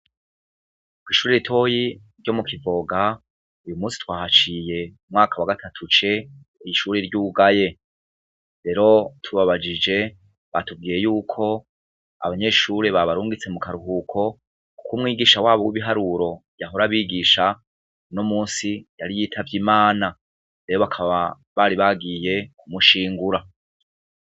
Kw'ishuri ritoyi ryo mu Kivoga ,uyu munsi twahaciye umwaka wa gatatu C ishuri ry'ugaye rero tubabajije batubwiye yuko abanyeshuri babarungitse mu karuhuko kuk'umwigisha wabo w'ibiharuro yahora bigisha uno munsi yari yitavy'imana, rero bakaba bari bagiye kumushingura.